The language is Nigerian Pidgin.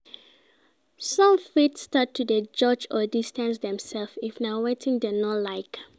Some fit start to de judge or distance themselves if na wetin dem no like